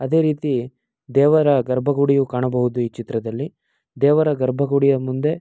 ಅದೆ ರೀತಿ ದೇವರ ಗರ್ಭ ಗುಡಿಯು ಕಾಣಬಹುದು ಈ ಚಿತ್ರದಲ್ಲಿ. ದೇವರ ಗರ್ಭಗುಡಿಯ ಮುಂದೆ--